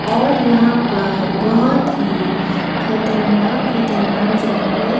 और यहां पर बहोत ही खतरनाक खतरनाक जानवर--